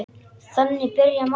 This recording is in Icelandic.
Þannig byrja margar.